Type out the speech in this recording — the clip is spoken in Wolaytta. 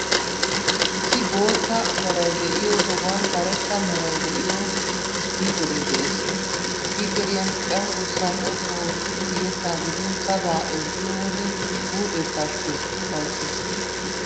Issi boottaa meray de'iyoo sohuwan karetta meray de'iyoo isppiikeree de'ees. Isppiikeeriyan cenggurssaa xoqqu oottidi yettaa gidin sabaa ezggiyo wode huuphee pashkkees, ufayssees.